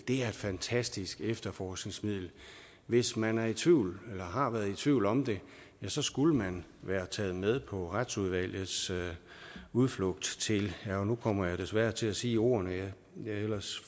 er et fantastisk efterforskningsmiddel hvis man er i tvivl har været i tvivl om det så skulle man være taget med på retsudvalgets udflugt til og nu kommer jeg desværre til at sige ordene jeg ellers